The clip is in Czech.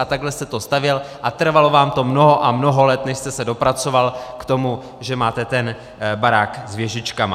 A takhle jste to stavěl a trvalo vám to mnoho a mnoho let, než jste se dopracoval k tomu, že máte ten barák s věžičkami.